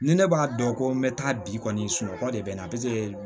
Ni ne b'a dɔn ko n bɛ taa bi kɔni sunɔgɔ de bɛ na